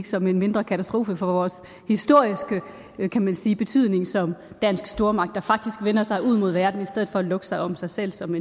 som en mindre katastrofe for vores historiske kan man sige betydning som dansk stormagt der faktisk vender sig ud mod verden i stedet for at lukke sig om sig selv som